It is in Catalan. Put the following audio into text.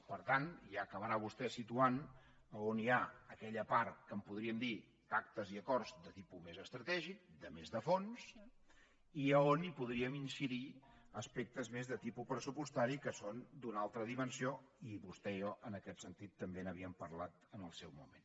per tant ja acabarà vostè situant on hi ha aquella part que en podríem dir pactes i acords de tipus més estratègic de més de fons i a on hi podríem incidir aspectes més de tipus pressupostari que són d’una altra dimensió i vostè i jo en aquest sentit també n’havíem parlat en el seu moment